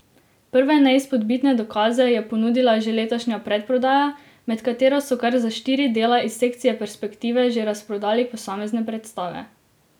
Prve neizpodbitne dokaze je ponudila že letošnja predprodaja, med katero so kar za štiri dela iz sekcije Perspektive že razprodali posamezne predstave.